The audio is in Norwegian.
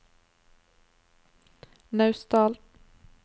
Naustdal